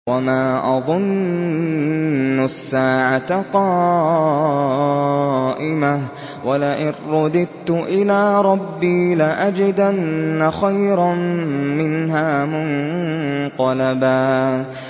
وَمَا أَظُنُّ السَّاعَةَ قَائِمَةً وَلَئِن رُّدِدتُّ إِلَىٰ رَبِّي لَأَجِدَنَّ خَيْرًا مِّنْهَا مُنقَلَبًا